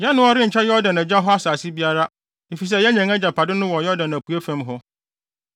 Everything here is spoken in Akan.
Yɛne wɔn renkyɛ Yordan agya hɔ asase biara, efisɛ yɛanya yɛn agyapade no wɔ Yordan apuei fam hɔ.”